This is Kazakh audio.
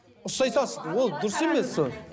ұстай салшы ол дұрыс емес ол